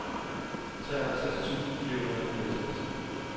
treoghalvtreds tusind fire hundrede og fireoghalvtreds